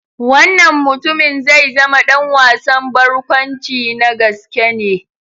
Wannan mutumin zai zama ɗan wasan barkwanci na gaske ne.